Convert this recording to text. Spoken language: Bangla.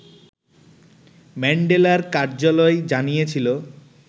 ম্যান্ডেলার কার্যালয় জানিয়েছিল